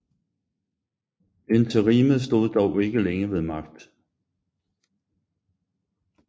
Interimet stod dog ikke længe ved magt